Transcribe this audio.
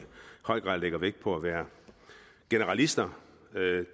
høj grad lægger vægt på at være generalister